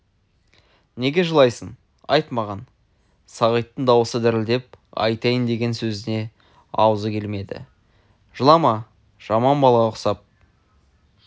неге жылайсың айт маған сағиттің дауысы дірілдеп айтайын деген сөзіне аузы келмеді жылама жаман балаға ұқсап